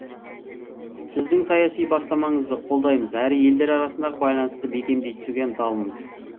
сіздің саяси бастамаңызды қолдаймыз әрі елдер арасындағы байланысты бекемдей түсуге ынталымыз